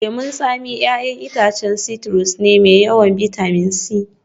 Lemun tsami 'ya'yan itacen citrus ne mai yawan bitamin C